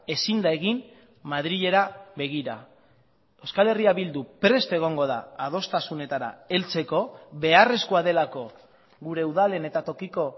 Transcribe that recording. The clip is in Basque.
ezin da egin madrilera begira euskal herria bildu prest egongo da adostasunetara heltzeko beharrezkoa delako gure udalen eta tokiko